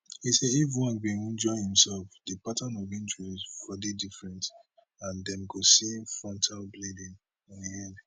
e say if ojwang bin wunjure imsef di pattern of injuries for dey different and dem go see frontal bleeding on im head